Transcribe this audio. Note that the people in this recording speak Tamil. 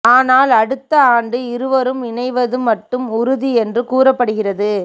ஆனால் அடுத்த ஆண்டு இருவரும் இணைவது மட்டும் உறுதி என்று கூறப்படுகிறது